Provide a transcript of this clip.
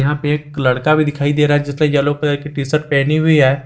यहां पे एक लड़का भी दिखाई दे रहा है जिसने येलो कलर के टी_शर्ट पहनी हुई है।